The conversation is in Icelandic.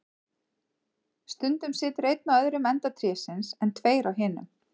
Stundum situr einn á öðrum enda trésins, en tveir á hinum.